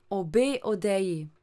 Obe odeji.